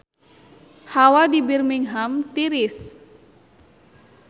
Hawa di Birmingham tiris